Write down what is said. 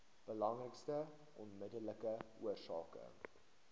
belangrikste onmiddellike oorsake